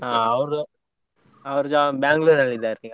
ಹಾ ಅವರು job Bangalore ಅಲ್ಲಿ ಇದ್ದಾರೆ ಈಗ.